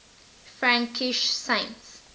frankish saints